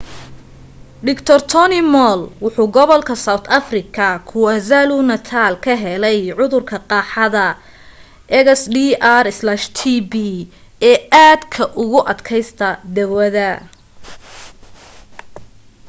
dr. tony moll wuxuu gobolka south afrika kwazulu-natal ka helay cudurka qaaxada xdr-tb ee aadka ugu adkaysta dawada